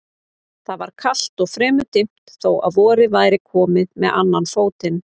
Það var kalt og fremur dimmt þó að vorið væri komið með annan fótinn.